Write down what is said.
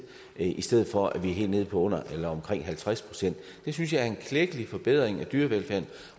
i stedet for at det er helt nede på halvtreds pct synes jeg er en klækkelig forbedring af dyrevelfærden